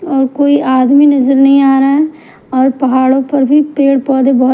कोई आदमी नजर नहीं आ रहा है और पहाड़ों पर भी पेड़-पौधे बहो --